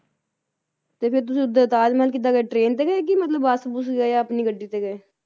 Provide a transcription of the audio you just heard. ਤੇ ਫੇਰ ਤੁਸੀ ਉਹਦਾ ਤਾਜ ਮਹਿਲ ਕਿਦਾਂ ਗਏ train ਤੇ ਕੇ ਮਤਲਬ ਬੱਸ ਬੁਸ ਗਏ ਆਪਣੀ ਗੱਡੀ ਤੇ ਗਏ,